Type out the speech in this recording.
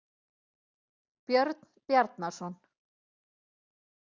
Björn Bjarnason.